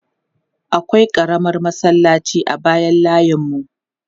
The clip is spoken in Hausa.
Akwai ƙaramar masallaci a bayan layinmu.